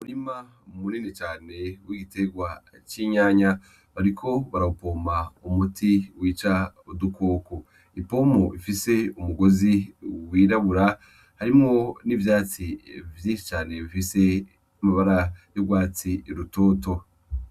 Murima mumuninicane w'igitegwa c'inyanya bariko barawupoma umuti wica udukoko ipomo ifise umugozi wirabura harimwo n'ivyatsi vyinshi cane bifise amabara y'urwatsi rutoto.